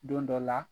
Don dɔ la